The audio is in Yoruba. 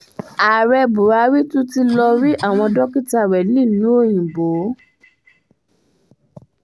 ààrẹ buhari tún ti lọrí àwọn dókítà rẹ̀ nílùú òyìnbó o